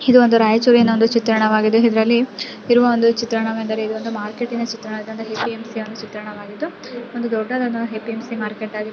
ಇದೊಂದು ರಾಯಚೂರಿನ ಒಂದು ಚಿತ್ರಣವಾಗಿದ್ದು ಇದ್ರಲ್ಲಿ ಇರುವ ಚಿತ್ರಣ ವೇನೆಂದರೆ ಇದೊಂದು ಮಾರ್ಕೆಟ್ ನ ಚಿತ್ರಣ ಇದು ಎ .ಪಿ. ಎಂ. ಸಿ ಚಿತ್ರಣ ವಾಗಿದ್ದು .ಒಂದು ದೊಡ್ಡದಾದ A .P. M. C market .